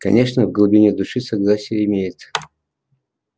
конечно в глубине души согласие имеется